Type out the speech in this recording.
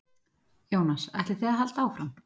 Jónas: Ætlið þið að halda áfram?